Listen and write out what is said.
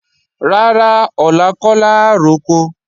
Rárá, ọ̀la kọ́ làá roko